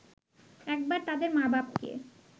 একবার তাদের মা-বাপকে